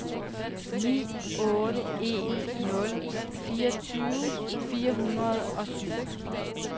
ni otte en nul fireogtyve fire hundrede og syv